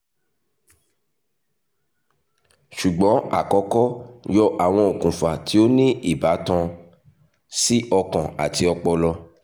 ṣugbọn akọkọ yọ awọn okunfa ti o ni ibatan si ọkan ati ọpọlọ